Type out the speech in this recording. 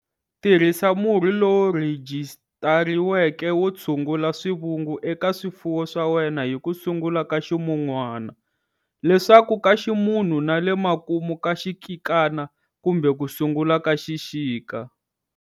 Tirhisa murhi lowu rhijisitariweke wo tshungula swivungu eka swifuwo swa wena hi ku sungula ka ximun'wana, leswaku ka ximunhu na le makumu ka xikikana kumbe ku sungula ka xikika.